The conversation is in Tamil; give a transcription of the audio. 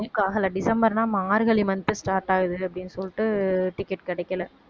book ஆகலை டிசம்பர்னா மார்கழி month start ஆகுது அப்படின்னு சொல்லிட்டு ticket கிடைக்கலை